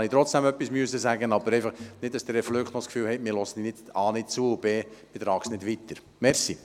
Ich musste jetzt trotzdem etwas sagen, nicht, dass der Flück meint, man höre erstens nicht zu und es werde zweitens nicht weitergetragen.